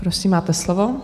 Prosím, máte slovo.